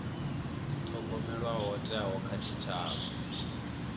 thogomelwa ho thewaho kha tshitshavha